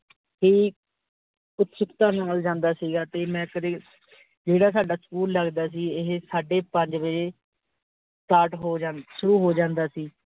ਤੀ ਉਤਸੁਕਤਾ ਨਾਲ ਜਾਂਦਾ ਸੀਗਾ ਤੇ ਮੈਂ ਕਦੇ ਜਿਹੜਾ ਸਾਡਾ SCHOOL ਲਗਦਾ ਸੀ ਇਹ ਸਾਡੇ ਪੰਜ ਬਜੇ start ਹੋ ਜਾਂਦਾ ਸ਼ੁਰੂ ਹੋ ਜਾਂਦਾ ਸੀ।